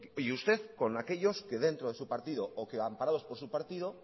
y usted como aquellos que dentro de su partido o que amparados por su partido